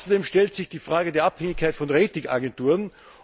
Außerdem stellt sich die Frage der Abhängigkeit von Rating Agenturen.